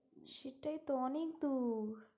সেটাই তো অনেক দূর।